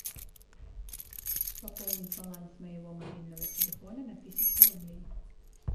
пополнить баланс моего мобильного телефона на тысячу рублей